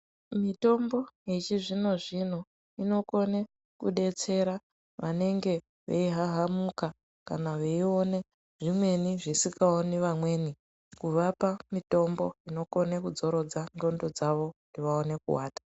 Mitombo yechizvinozvino inokona kudetsera vanenge veihahamuka kana veiona zvimweni zvisingaoni vamweni kuvapa mitombo inokona kuzorodza ndxondo dzavo kuti vaone kuata.